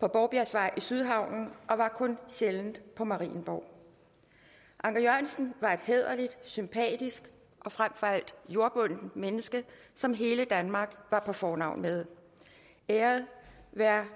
på borgbjergsvej i sydhavnen og var kun sjældent på marienborg anker jensen var et hæderligt sympatisk og frem for alt jordbundent menneske som hele danmark var på fornavn med æret være